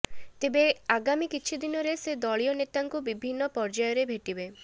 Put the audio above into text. ତେବେ ଆଗାମୀ କିଛି ଦିନରେ ସେ ଦଳୀୟ ନେତାଙ୍କୁ ବିଭିନ୍ନ ପର୍ଯ୍ୟାୟରେ ଭେଟିବେ